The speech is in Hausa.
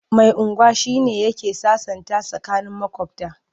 Mai unguwa shi ne yake sasanta tsakanin maƙwabta.